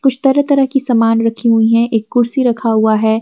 कुछ तरह तरह की समान रखी हुई हैं एक कुर्सी रखा हुआ है।